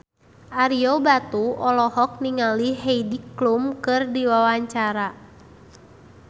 Ario Batu olohok ningali Heidi Klum keur diwawancara